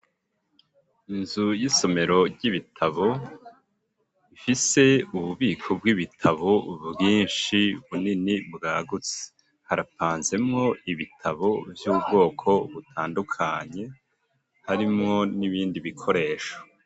Inzu y'isomero ry'ibitabo ifise ububiko bw'ibitabo bwinshi bunini bwagutse harapanzemo ibitabo vy'ubwoko butandukanye harimwo n'ibindi bikoresho.